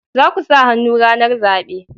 Za ku sa hannu ranar zabe